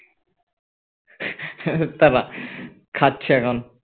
তারা খাচ্ছে এখন